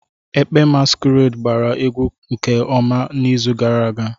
Ekpe masquerade gbara egwu nke ọma n'izu gara aga.